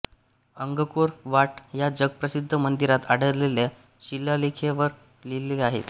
Angkor Wat ह्या जगप्रसिद्ध मंदिरात आढळलेल्या शिलालेखावर लिहिले आहे